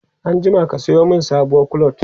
anjima ka Sayo min sabuwar clutch!